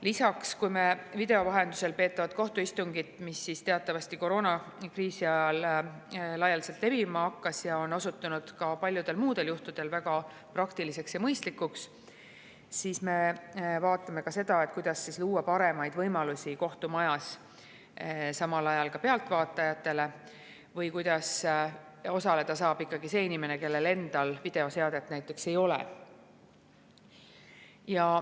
Lisaks, kuna meil video vahendusel peetavad kohtuistungid, mis teatavasti koroonakriisi ajal laialdaselt kasutusele võeti, on osutunud paljudel juhtudel väga praktiliseks ja mõistlikuks, siis me vaatame ka seda, kuidas luua paremaid võimalusi kohtumajas ka pealtvaatajatele ja kuidas osaleda saab ka inimene, kellel endal videoseadet ei ole.